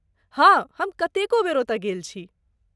हाँ, हम कतेको बेर ओतय गेल छी।